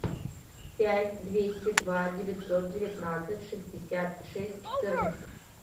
пять двести два девятьсот девятнадцать шестьдесят шесть четырнадцать